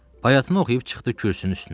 Bayatını oxuyub çıxdı kürsünün üstünə.